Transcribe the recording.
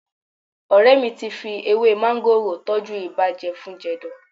Ọ̀rẹ́ mi ti fi ewé máńgòrò tọ́jú ibà jẹfun-jẹ̀dọ̀